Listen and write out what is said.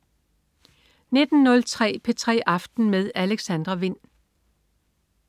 19.03 P3 aften med Alexandra Wind